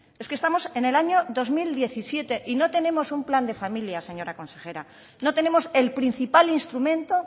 es que estamos en el año dos mil diecisiete y no tenemos un plan de familia señora consejera no tenemos el principal instrumento